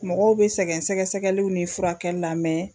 Mɔgɔw bɛ sɛgɛn sɛgɛsɛgɛliw ni furakɛli la mɛ